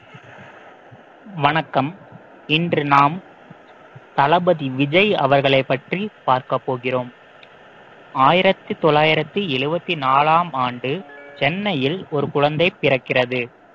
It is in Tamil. வணக்கம் இன்று நாம் தளபதி விஜய் அவர்களைப் பற்றி பார்க்கப் போகிறோம் ஆயிரத்தி தொள்ளாயிரத்தி எழுபத்தி நாலாம் ஆண்டு சென்னையில் ஒரு குழந்தை பிறக்கிறது